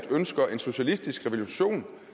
ønsker en socialistisk revolution